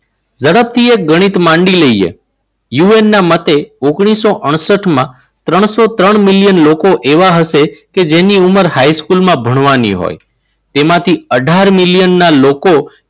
ઝડપથી એક ગણિત માંડી લઈએ. યુએનના મતે ઓગણીસો અડસઠમાં ત્રણસો ત્રણ મિલિયન લોકો એવા હશે કે જેની ઉંમર હાઈસ્કૂલમાં ભણવાની હોય તેમાંથી અઢાર મિલિયન ના લોકો